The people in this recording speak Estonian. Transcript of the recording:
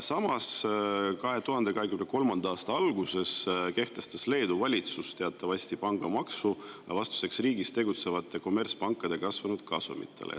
Samas, 2023. aasta alguses kehtestas Leedu valitsus teatavasti pangamaksu vastuseks riigis tegutsevate kommertspankade kasvanud kasumitele.